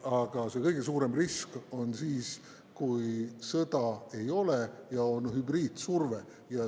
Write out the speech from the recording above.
Aga kõige suurem risk on siis, kui sõda ei ole ja on hübriidsurve.